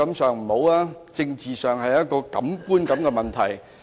在政治上這是個觀感問題。